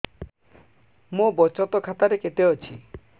ମୋ ବଚତ ଖାତା ରେ କେତେ ଅଛି